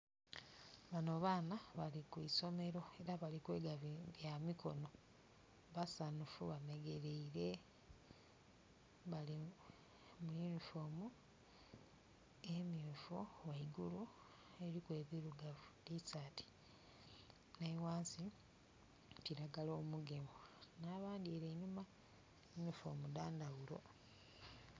Bano baana bali ku isomero era nga bali kwega bya mikono. Basanhufu bamegeleire. Bali mu yunifoomu emyufu ghaigulu eriku ebirugavu, tisaati, ni ghansi kiragala omugemu n'abandi ere einhuma yunifoomu dha ndhaghulo.